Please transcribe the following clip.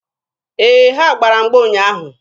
Ee, ha gbara mgba ụnyaahụ.